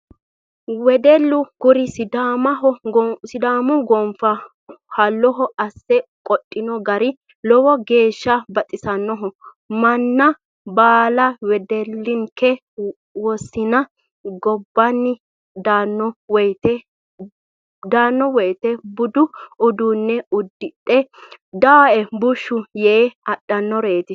Weddellu kuri sidaamuho gonfa ha'loho asse qodhino gari lowo geeshsha baxisanoho manna baalla, wedellinke wosinu gobbadi daano woyte budu uduune uddidhe dawoe bushshu yte adhittanoreti